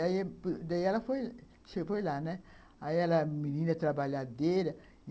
Daí ela, você foi lá, né? menina trabalhadeira.